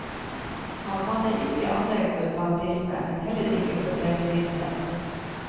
Han hadde ikke anlegg for fanatisme, men heller ikke for selvmedlidenhet.